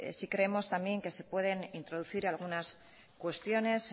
sí creemos también que se pueden introducir algunas cuestiones